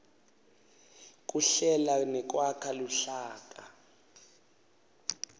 kuhlela nekwakha luhlaka